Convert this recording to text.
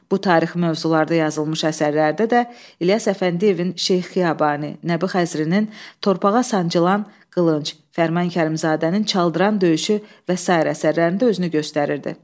Bu tarixi mövzularda yazılmış əsərlərdə də İlyas Əfəndiyevin Şeyx Xiyabani, Nəbi Xəzrinin Torpağa sancılan qılınc, Fərman Kərimzadənin Çaldıran döyüşü və sair əsərlərində özünü göstərirdi.